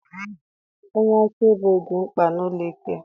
Onye akaebe dị mkpa n'ụlọikpe.